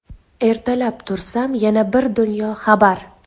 Ertalab tursam yana bir dunyo xabar.